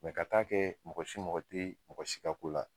ka taa kɛ mɔgɔ si mako te mɔgɔ si ka ko la